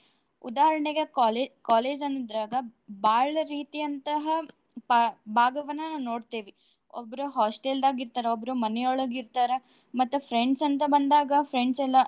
ಉದಾಹರ್ಣೆಗೆ colle~ college ಅಂದ್ರಾಗ ಬಾಳ ರೀತಿಯಂತಹ ಪಾ~ ಭಾಗವನನ ನೋಡ್ತೇವಿ. ಒಬ್ರೂ hostel ದಾಗ್ ಇರ್ತಾರ ಒಬ್ರೂ ಮನಿಯೋಳಗ್ ಇರ್ತಾರ. ಮತ್ತ friends ಅಂತ ಬಂದಾಗ friends ಎಲ್ಲಾ.